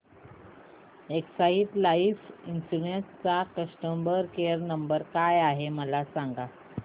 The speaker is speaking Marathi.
एक्साइड लाइफ इन्शुरंस चा कस्टमर केअर क्रमांक काय आहे मला सांगा